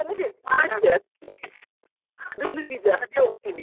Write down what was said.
ಅದುನು ನಿಜ ಅದನ್ನು ನಾನು.